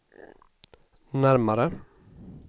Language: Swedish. närmare